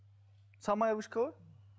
самая вышка ғой